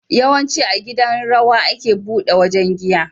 Yawanci a gidan rawa ake buɗe wajan giya